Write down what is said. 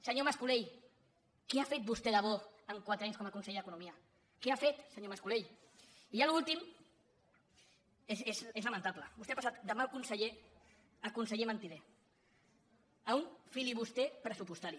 senyor mascolell què ha fet vostè de bo en quatre anys com a conseller d’economia què ha fet senyor mascolell i ja l’últim és lamentable vostè ha passat de mal conseller a conseller mentider a un filibuster pressupostari